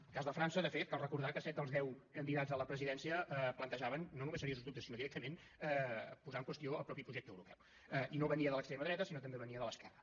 en el cas de frança de fet cal recordar que set dels deu candidats a la presidència en plantejaven no només seriosos dubtes sinó que directament posaven en qüestió el mateix projecte europeu i no venia de l’extrema dreta sinó que també venia de l’esquerra